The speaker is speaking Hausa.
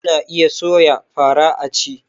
Ana iya soya fara a ci